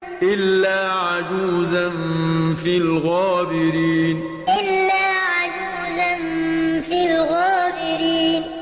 إِلَّا عَجُوزًا فِي الْغَابِرِينَ إِلَّا عَجُوزًا فِي الْغَابِرِينَ